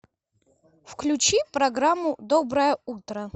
включи программу доброе утро